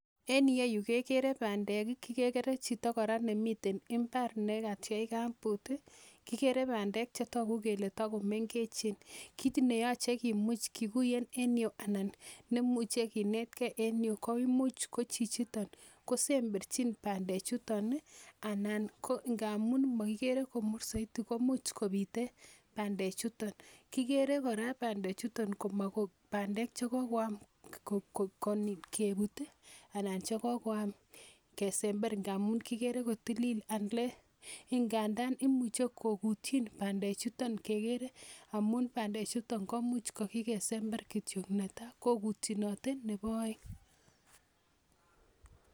Enieyu kekere bandek kekere chito kora nemiten imbar nekatyech kambut kikere bandek chetoku kole takomengechen kiit neyochei kimuuch kikuye en yu anan nemuche kinetkei en yu ko imuuch ko chichiton kosemberchin bandechuton ana ko ngaamun makikere komur soiti ko muuch kobite bandechuton kikere kora bandechuton ko makobandek chekokoam kebut anan chekokoam kesenber ngaamun kikere kotilil ingandan imuchen koputyon bandechuton kekere amun bandechuton komuuch ko kikesember kityo netai koputyinote nebo oeng'